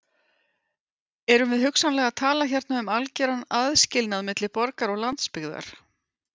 Erum við hugsanlega að tala hérna um algeran aðskilnað milli borgar og landsbyggðar?